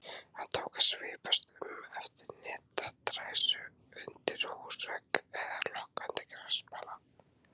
Hann tók að svipast um eftir netadræsu undir húsvegg eða lokkandi grasbala.